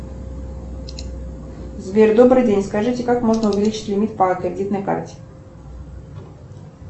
сбер добрый день скажите как можно увеличить лимит по кредитной карте